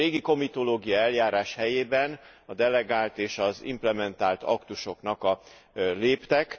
A régi komitológiai eljárás helyébe a delegált és az implementált aktusok léptek.